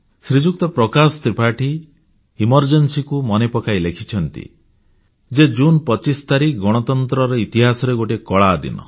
ଶ୍ରୀଯୁକ୍ତ Prakash Tripathi emergency ବା ଜରୁରୀକାଳିନ ପରିସ୍ଥିତିକୁ ମନେ ପକାଇ ଲେଖିଛନ୍ତି ଯେ ଜୁନ୍ 25 ତାରିଖ ଗଣତନ୍ତ୍ରର ଇତିହାସରେ ଗୋଟିଏ କଳା ଦିନ